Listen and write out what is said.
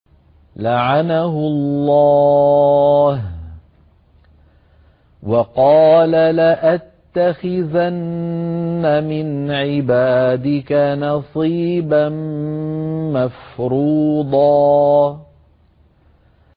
لَّعَنَهُ اللَّهُ ۘ وَقَالَ لَأَتَّخِذَنَّ مِنْ عِبَادِكَ نَصِيبًا مَّفْرُوضًا